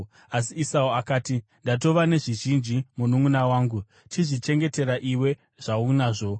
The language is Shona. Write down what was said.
Asi Esau akati, “Ndatova nezvizhinji, mununʼuna wangu. Chizvichengetera iwe zvaunazvo.”